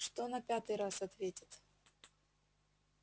что на пятый раз ответит